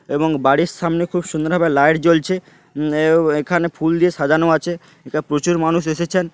এবং বাড়ির সামনে খুব সুন্দর ভাবে লাইট জ্বলছে এএ এখানে ফুল দিয়ে সাজানো আছে এটা প্রচুর মানুষ এসেছেন ।